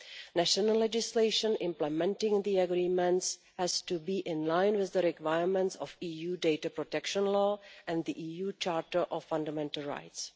National legislation implementing the agreements has to be in line with the requirements of EU data protection law and the EU Charter of Fundamental Rights.